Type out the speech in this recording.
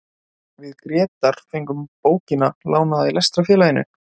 Við Grétar fengum bókina lánaða í Lestrarfélaginu.